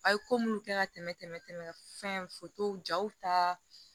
A' ye ko minnu kɛ ka tɛmɛ fɛn jaw ta